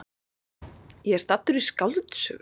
Ég er staddur í skáldsögu!